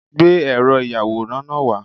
Gbé ẹ̀rọ ìyàwòrán náà wá